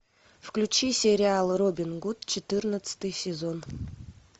включи сериал робин гуд четырнадцатый сезон